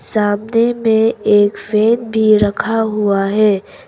सामने में एक फैन भी रखा हुआ है।